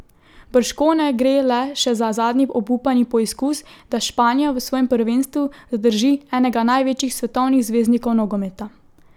Bržkone gre le še za zadnji obupani poizkus, da Španija v svojem prvenstvu zadrži enega največjih svetovnih zvezdnikov nogometa.